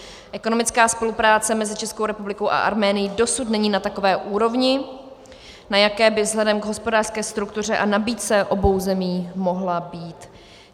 Ekonomická spolupráce mezi Českou republikou a Arménií dosud není na takové úrovni, na jaké by vzhledem k hospodářské struktuře a nabídce obou zemí mohla být.